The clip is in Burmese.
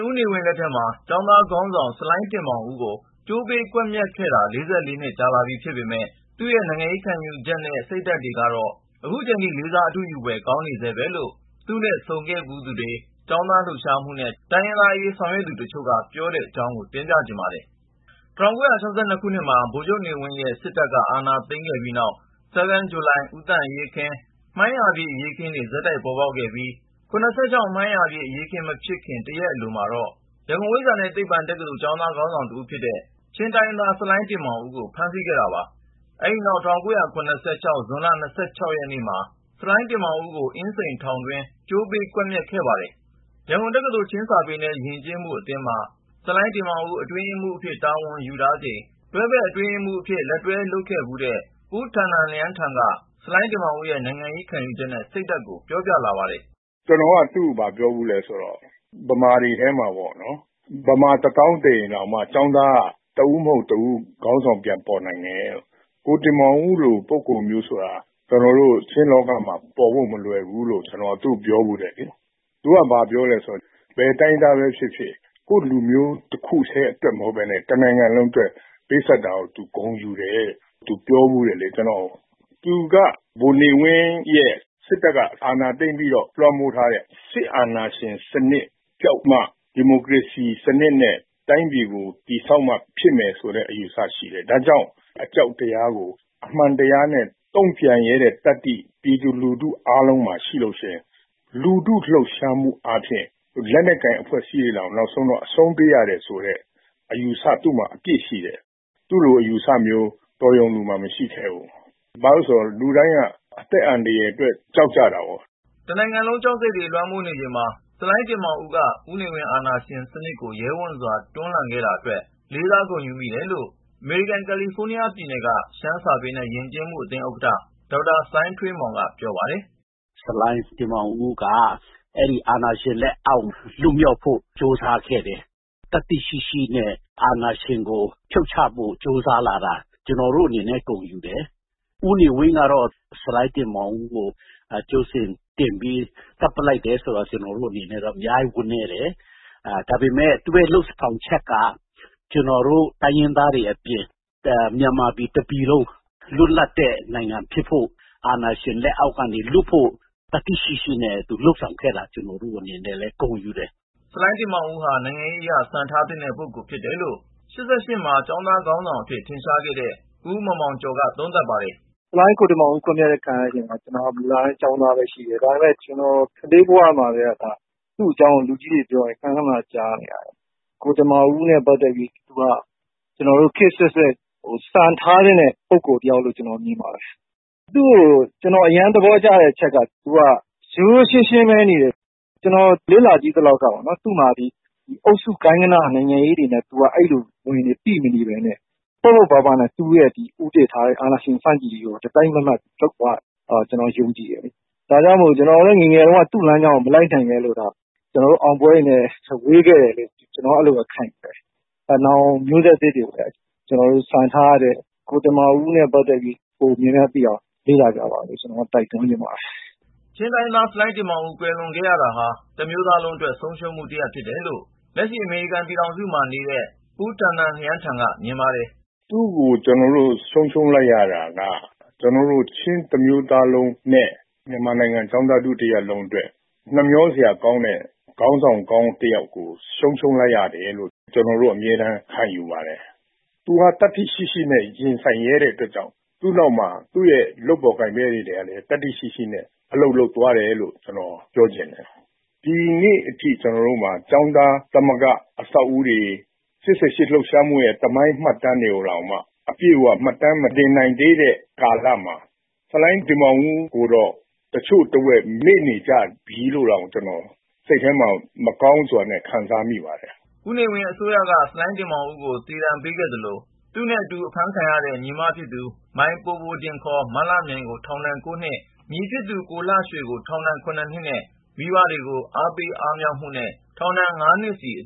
ဦးနေဝင်းလက်ထက်မှာ ကျောင်းသားခေါင်းဆောင် ဆလိုင်းတင်မောင်ဦးကို ကြိုပေး ကွက်မျက်ခဲ့တာ နှစ် ကြာလာပြီဖြစ်ပေမယ့် သူ့ရဲ့နိုင်ငံရေးခံယူချက်နဲ့ စိတ်ဓါတ်ကတော့ ခုချိန်ထိ လေးစား အတုယူဖွယ် ကောင်းနေဆဲပဲလို့ သူနဲ့ဆုံခဲ့သူတေ ွ၊ ကျောင်းသားလှုပ်ရှားမှုနဲ့ တိုင်းရင်းသားအရေးဆောင်ရွက်နေသူတချို့က ပြောဆိုကြတဲ့အကြောင်းကို ပြောပြပါမယ်။ ကိုဉာဏ်ဝင်းအောင် တင်ပြထားပါတယ်။ ၁၉၆၂ ခုနှစ်မှာ ဗိုလ်ချုပ်နေဝင်းရဲ့ စစ်တပ်က အာဏာသိမ်းခဲ့ပြီးနောက် ၆၂ ဆဲဗင်းဂျူလိုင်၊ ၇၄ ဦးသန့်အရေးအခင်း၊ ၇၅ ဇွန် အရေးအခင်းနဲ့ ၇၆ မှိုင်းရာပြည့် အရေးခင်းတွေ ဆက်တိုက် ပေါ်ပေါက်ခဲ့ပြီး ၇၆ မှိုင်းရာပြည့် အရေးအခင်း မဖြစ်ခင် တရက်အလိုမှာတော့ ရန်ကုန် ဝိဇ္ဇာနဲ့သိပ္ပံတက္ကသိုလ် ကျောင်းသားခေါင်းဆောင်တဦးဖြစ်တဲ့ ချင်းတိုင်းရင်းသား ဆလိုင်းတင်မောင်ဦးကို ဖမ်းဆီးခဲ့တာပါ။ အဲဒီနောက် ၁၉၇၆ ဇွန်လ ရက်နေ့မှာ ဆလိုင်းတင်မောင်ဦးကို အင်းစိန်ထောင်တွင်း ကြိုပေး ကွက်မျက်ခဲ့ပါတယ်။ ရန်ကုန်တက္ကသိုလ် ချင်းစာပေနဲ့ယဉ်ကျေးမှုအသင်း မှာ ဆလိုင်းတင်မောင်ဦး အတွင်းရေးမှူးအဖြစ် တာဝန်ယူထားချိန် တွဲဘက်အတွင်းရေးမှူးအဖြစ် လက်တွဲလုပ်ခဲ့ဖူးတဲ့ ပူးထန်နန်လျန်းထန်က ဆလိုင်းတင်မောင်ဦးရဲ့ နိုင်ငံရေးခံယူချက်နဲ့ စိတ်ဓါတ်ကို ပြောပြလာပါတယ်။ “ကျနော်က သူ့ကို ဘာပြောဖူးသလဲဆိုတော့ ဗမာတွေထဲမှာပေါ့နော် ဗမာတသောင်းသေရင်တောင်မှ ကျောင်းသားက တဦးမဟုတ် တဦးခေါင်းဆောင်ပြန်ပေါ်နိုင်တယ်။ ကိုတင်မောင်ဦးလို ပုဂ္ဂိုလ်မျိုးဆိုတာက ကျနော်တို့ ချင်းလောကမှာ ပေါ်ဖို့မလွယ်ဘူးလို့ ကျနော်သူ့ကိုပြောဖူးတယ်။ သူက ဘာပြောသလဲဆိုတော့ ဘယ်တိုင်းရင်းသားပဲဖြစ်ဖြစ် ကိုယ့်လူမျိုးတခုတည်းအတွက်ပဲမဟုတ်ပဲနဲ့ တနိုင်ငံလုံးအတွက် ပေးဆပ်တာကို သူဂုဏ်ယူတယ်လို့ သူ ကျနော့်ကို ပြောဖူးတယ်။ သူက ဗိုလ်နေဝင်းရဲ့ စစ်တပ်က အာဏာသိမ်းပြီးတော့ လွှမ်းမိုးထားတဲ့ စစ်အာဏာရှင်စနစ်ပျောက်မှ ဒီမိုကရေစီ စနစ်နဲ့ တိုင်းပြည်ကို တည်ဆောက်မှ ဖြစ်မယ်ဆိုတဲ့ အယူအဆရှိတယ်။ ဒါကြောင့် အကြောက်တရားကို အမှန်တရားနဲ့ တုံ့ပြန်ရဲတဲ့ သတ္တိ ပြည်သူလူထုအားလုံးမှာရှိရင် လူထုလှုပ်ရှားမှုအားဖြင့် လက်နက်ကိုင်အဖွဲ့အစည်းတွေတောင် နောက်ဆုံးတော့ အရှုံးပေးရတယ်ဆိုတဲ့ အယူအဆ သူ့မှာ အပြည့်ရှိတယ်။ သူ့လိုအယူအဆ တော်ရုံလူမှာမရှိခဲ့ဘူး။ ဘာဖြစ်လို့လဲဆိုတော့ လူတိုင်းက အသက်အန္တရာယ်အတွက်ကြောက်ကြတာပေါ့။” တနိုင်ငံလုံး ကြောက်စိတ်တွေလွှမ်းမိုးနေချိန်မှာ ဆလိုင်းတင်မောင်ဦးက ဦးနေဝင်း အာဏာရှင်စနစ်ကို ရဲဝံ့စွာ တွန်းလှန်ခဲ့တာအတွက် လေးစားဂုဏ်ယူမိတယ်လို့ အမေရိကန် ကာလီဖိုးနီးယားပြည်နယ်က ရှမ်းစာပေနဲ့ ယဉ်ကျေးမှုအသင်းဥက္ကဌ ဒေါက်တာစိုင်းထွေးမောင်က ပြောပါတယ်။ “ဆလိုင်းတင်မောင်ဦးက အဲဒီ အာဏာရှင်လက်ကောက်ကနေ လွတ်မြောက်ဖို့ ကြိုးစားခဲ့တဲ့ သတ္တိရှိရှိနဲ့ အာဏာရှင်ကို ဖြုတ်ချဖို့ ကြိုးစားလာတာ ကျနော်တို့အနေနဲ့ ဂုဏ်ယူတယ်။ ဦးနေဝင်းကတော့ ဆလိုင်းတင်မောင်ဦးကို ကြိုးစင်တင်ပြီး သတ်လိုက်တာကို ကျနော်တို့အနေနဲ့ အများကြီး ဝမ်းနည်းတယ် ဒါပေမယ့် သူ့ရဲ့ လုပ်ဆောင်ချက်က ကျနော်တို့ တိုင်းရင်းသားတွေအပြင် မြန်မာပြည်တပြည်လုံး လွတ်လပ်တဲ့ နိုင်ငံဖြစ်ဖို့ အာဏာရှင်လက်အောက်ကနေ လွှတ်ဖို့ သတ္တိ ရှိရှိနဲ့ သူလုပ်ဆောင်ခဲ့တာဖြစ်တယ်။ ကျနော်တို့အနေနဲ့လည်း ဂုဏ်ယူတယ်။” ဆလိုင်းတင်မောင်ဦးဟာ နိုင်ငံရေးအရ စံထားသင့်တဲ့ပုဂ္ဂိုလ်ဖြစ်တယ်လို့ ၈၈ မှာ ကျောင်းသားခေါင်းဆောင်အဖြစ် ထင်ရှားခဲ့သူ ဦးမောင်မောင်ကျော်ကလည်း သုံးသပ်ပါတယ်။ “ဆလိုင်းတင်မောင်ဦး ကွတ်မြတ်ခံရတဲ့အချိန်မှာ ကျနော်ကမူလတန်းကျောင်းသားပဲ ရှိတယ်။ ဒါပေမယ့် ကျနေ်ာ ကလေးဘဝမှာကတည်းက သူ့အကြောင်းကို လူကြီးတွေ ပြောတာ ခဏခဏ ကြားနေရတယ်။ ကိုတင်မောင်ဦး နဲ့ ပတ်သက်ပြီး သူက ခေတ်အဆက်ဆက် စံထားသင့်တဲ့ ပုဂ္ဂိုလ်တယောက်လို့ ကျနေ်ာမြင်ပါတယ်။ သူ့ကို ကျနော်အရမ်းသဘောကျတဲ့အချက်က သူက ရိုးရိုးရှင်းရှင်းပဲနေတယ် ကျနေ်ာလေ့လာကြည့်သလောက်ကပေါ့နော် သူ့မှာ အုပ်စု ၊ ဂိုဏ်းဂဏ နိုင်ငံရေးတွေ အဲဒီလို ဝန်တွေ ပိမနေပဲနဲ့ ပေါ့ပေါ့ပါးပါးနဲ့ သူ့ရဲ့ ဦးတည်ထားတဲ့ အာဏာရှင်ဆန့်ကျင်ရေးကို တစိုက်မတ်မတ်လုပ်သွားတယ်လို့ ကျနော်ယုံကြည်တယ်။ ဒါကြောင့်မို့ ကျနော်လည်း ငယ်ငယ်က သူ့လမ်းကြောင်းကို မလိုက်နိုင်ခဲ့လို့သာ ကျနော်တို့ အောင်ပွဲတွေနဲ့ ဝေးခဲ့တယ်လို့ ကျနော်အဲလိုပဲ ခံယူတယ်။ နောင်မျိုးဆက်သစ်တွေကိုလည်း စံထားရတဲ့ ကိုတင်မောင်ဦးနဲ့ ပတ်သက်ပြီးတော့ များများလေ့လာကြပါလို့ ကျနော်က တိုက်တွန်းချင်ပါတယ်။ ချင်းတိုင်းရင်းသား ဆလိုင်းတင်မောင်ဦး ကွယ်လွန်ခဲ့ရတာဟာ တမျိုးသားလုံးအတွက် ဆုံးရှုံးမှုတရပ် ဖြစ်တယ်လို့ လက်ရှိ အမေရိကန်ပြည်ထောင်စုမှာ နေတဲ့ ပူးထန်နန်လျန်းထန်က မြင်ပါတယ်။ “သူ့ကို ကျနော်တို့ ဆုံးရှုံးလိုက်ရတာက ကျနော်တို့ ချင်းတမျိုးသားလုံးနဲ့ မြန်မာကျောင်းသားထု တရပ်လုံးအတွက် နှမျောစရာကောင်းတဲ့ ခေါင်းဆောင်ကောင်းတယောက်ကို ဆုံးရှုံးလိုက်ရတယ်လို့ ကျနော်တို့ အမြဲတမ်းခံယူပါတယ်။ သူက သတ္တိရှိရှိနဲ့ ရင်ဆိုင်ရဲတဲ့အတွက်ကြောင့်မို့ သူ့နောက်မှာ သူ့လုပ်ဖော်ကိုင်ဖက်တွေကနေ သတ္တိရှိရှိနဲ့ အလုပ်လုပ်သွားတယ်လို့ ကျနော်ပြောချင်တယ် ။ ဒီနေ့အထိ ကျနော်တို့မှာ ကျောင်းသားသမဂ္ဂအဆောက်အဦးတွေ ၊ ၈၈ လှုပ်ရှားမှုရဲ့ သမိုင်းမှတ်တမ်းတွေကိုတောင်မှ အပြည့်အ၀ မှတ်တမ်းမတင်နိုင်သေးတဲ့ကာလမှာ ဆလိုင်းတင်မောင်ဦး ကိုတော့ တချို့တဝက် မေ့နေကြပြီလို့တောင် ကျနော်စိတ်ထဲမှာ မကောင်းစွာနဲ့ ခံစားမိပါတယ်။” ဦးနေဝင်းအစိုးရက ဆလိုင်းတင်မောင်ဦးကို သေဒဏ်ပေးခဲ့သလို၊ သူနဲ့အတူ အဖမ်းခံရတဲ့ ညီမဖြစ်သူ မိုင်ပိုပိုဒင် မလှမြိုင်ကိုထောင်ဒဏ် နှစ် ၊ ညီဖြစ်သူ ကိုလှရွှေကို ထောင်ဒဏ် နှစ်နဲ့ မိဘတွေကို အားပေးအားမြှောက်မှုနဲ့ ထောင်ဒဏ် နှစ်စီ အ